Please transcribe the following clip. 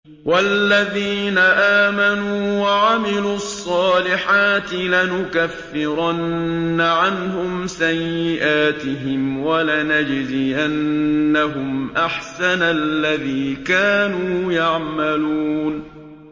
وَالَّذِينَ آمَنُوا وَعَمِلُوا الصَّالِحَاتِ لَنُكَفِّرَنَّ عَنْهُمْ سَيِّئَاتِهِمْ وَلَنَجْزِيَنَّهُمْ أَحْسَنَ الَّذِي كَانُوا يَعْمَلُونَ